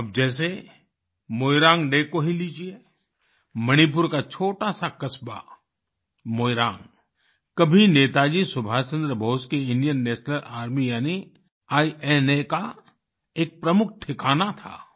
अब जैसे मोइरांग डे को ही लीजिये मणिपुर का छोटा सा क़स्बा मोइरांग कभी नेताजी सुभाषचंद्र बोस की इंडियन नेशनल आर्मी यानि इना का एक प्रमुख ठिकाना था